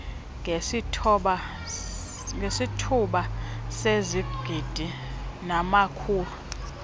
ngesithoba sezigidi namakhulu